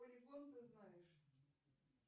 ты знаешь